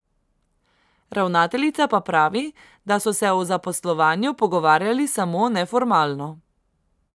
Ravnateljica pa pravi, da so se o zaposlovanju pogovarjali samo neformalno.